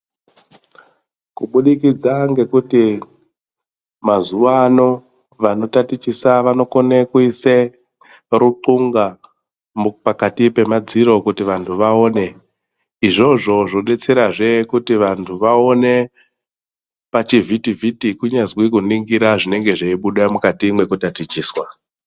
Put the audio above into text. Kubudikidza ngekuti mazuwa ano vanotatichesa vanokone kuise ruthunga mu pakati pemadziro kuti vantu vaone izvozvo zvodetserazve kuti vantu vaone pachi vhiti vhiti kunyazwi kuningira zvinenge zveibuda mukati mwekutatichiswa.